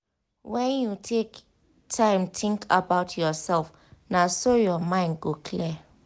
when you take time think about yourself na so your mind go clear.